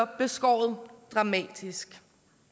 beskåret dramatisk